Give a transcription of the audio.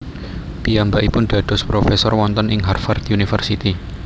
Piyambakipun dados profesor wonten ing Harvard University